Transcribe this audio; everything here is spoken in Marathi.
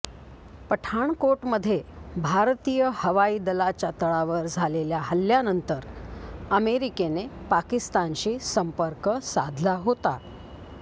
पठाणकोटमध्ये भारतीय हवाई दलाच्या तळावर झालेल्या हल्ल्यानंतर अमेरिकेने पाकिस्तानशी संपर्क साधला होता